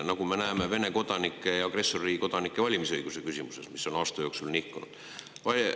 Ja nagu me näeme Vene kodanike ja agressorriigi kodanike valimisõiguse küsimuse puhul, on nende aasta jooksul nihkunud.